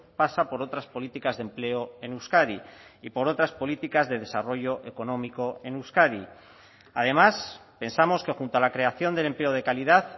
pasa por otras políticas de empleo en euskadi y por otras políticas de desarrollo económico en euskadi además pensamos que junto a la creación del empleo de calidad